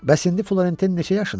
Bəs indi Florentin neçə yaşındadır?